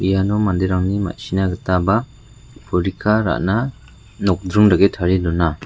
iano manderangni ma·sina gita ba porika ra·na nokdring dake tarie dona.